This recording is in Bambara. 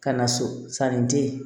Ka na so sanni di